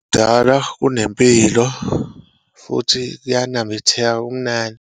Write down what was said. Kudalwa kunempilo, futhi kuyanambitheka, kumnandi.